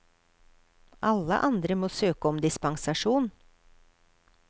Alle andre må søke om dispensasjon.